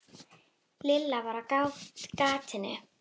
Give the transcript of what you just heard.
Lilla var á gatinu.